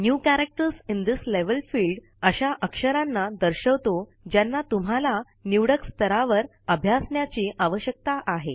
new character in this level हे अक्षरे दर्शवितो ज्याना तुम्हाला निवडक स्थरावर अभ्यासण्याची आवश्यकता आहे